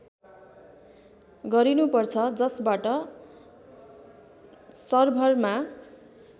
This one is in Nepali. गरिनुपर्छ जसबाट सर्भरमा